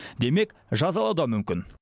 демек жазалау да мүмкін